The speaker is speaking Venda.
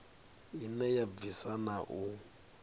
ine ya bvisa na u